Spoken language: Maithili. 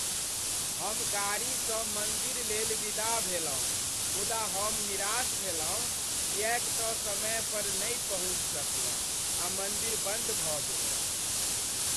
हम गाड़ीसँ मन्दिरलेल विदा भेलहुँ मुदा हम निराश भेलहुँ किएक त समय पर नहि पहुँचि सकलहुँ आ मन्दिर बन्द भऽ गेलैक।